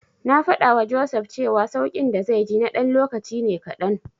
Na faɗawa Joseph cewa sauƙin da zai ji na ɗan lokaci ne kaɗan.